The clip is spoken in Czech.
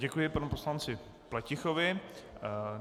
Děkuji panu poslanci Pletichovi.